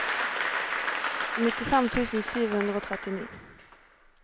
nittifem tusen sju hundre og trettini